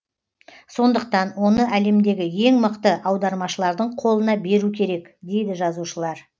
сондықтан оны әлемдегі ең мықты аудармашылардың қолына беру керек дейді жазушылар